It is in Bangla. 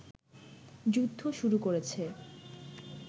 যুদ্ধ শুরু করেছে